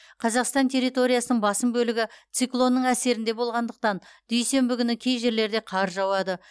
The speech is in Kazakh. қазақстан территориясының басым бөлігі циклонның әсерінде болғандықтан дүйсенбі күні кей жерлерде қар жауады